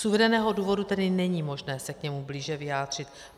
Z uvedeného důvodu tedy není možné se k němu blíže vyjádřit.